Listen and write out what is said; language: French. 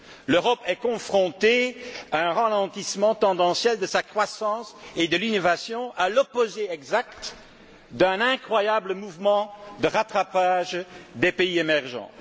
L'Europe est confrontée à un ralentissement tendanciel de sa croissance et de l'innovation, à l'opposé exact d'un incroyable mouvement de rattrapage des pays émergents.